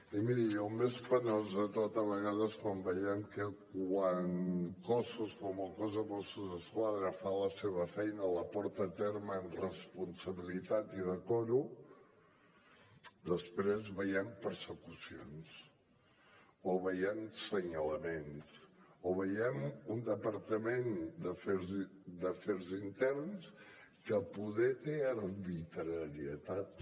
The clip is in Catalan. i miri el més penós de tot a vegades quan veiem que quan cossos com el cos de mossos d’esquadra fa la seva feina la porta a terme amb responsabilitat i decoro després veiem persecucions o veiem senyalaments o veiem un departament d’afers interns que poder té arbitrarietats